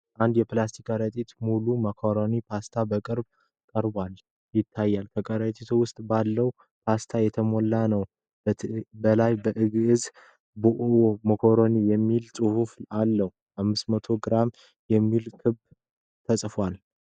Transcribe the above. አንድ የፕላስቲክ ከረጢት ሙሉ "ማካሮኒ" ፓስታ በቅርብ ቀርቦ ይታያል። ከረጢቱ በውስጡ ባለው ፓስታ የተሞላ ነው። ከላይ በግዕዝ "ቦዔዝ ማካሮኒ" የሚል ጽሑፍ አለ።"500g" የሚል ክብደት ተጽፏል።